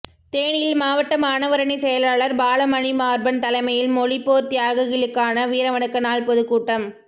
தேனியில் மாவட்ட மாணவரணி செயலாளர் பாலமணிமார்பன் தலைமையில் மொழிப்போர் தியாகிகளுக்கான வீரவணக்க நாள் பொதுக்கூட்டம்